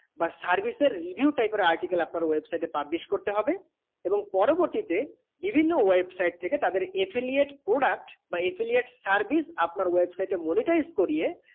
বা service এর review type এর article আপনার website এ publish করতে হবে এবং পরবর্তী তে বিভিন্ন website থেকে তাদের affiliate product বা affiliate service আপনার website এ monetize করিয়ে